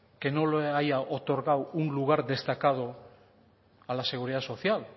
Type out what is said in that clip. que no lo haya otorgado un lugar destacado a la seguridad social